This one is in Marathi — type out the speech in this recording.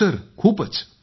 हो सर खूपच